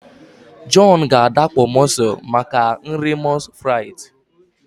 John ga adakpọ mussels maka nri moules frites